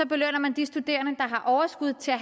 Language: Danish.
belønner man de studerende har overskud til at